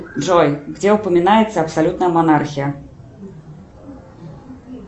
джой где упоминается абсолютная монархия